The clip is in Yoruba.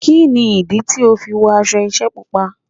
Kí ni ìdí tí ó fi wọ aṣọ iṣẹ́ Pupa?